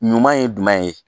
Ɲuman ye jumɛn ye